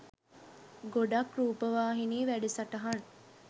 ගොඩක් රූපවාහිනී වැඩසටහන්